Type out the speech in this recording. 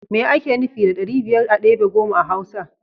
Me ake nufi da ɗari biyar a debe goma a hausa?